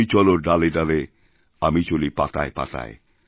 তুমি চলো ডালে ডালে আমি চলিপাতায় পাতায়